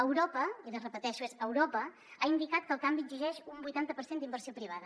europa i ho repeteixo europa ha indicat que el canvi exigeix un vuitanta per cent d’inversió privada